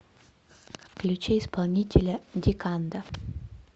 включи исполнителя диканда